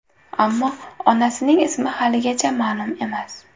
Ammo onasining ismi haligacha ma’lum emas.